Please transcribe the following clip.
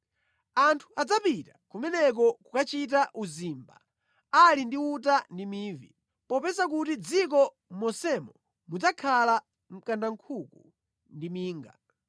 Anthu adzapita kumeneko kukachita uzimba ali ndi uta ndi mivi, popeza kuti mʼdziko monsemo mudzakhala mkandankhuku ndi minga.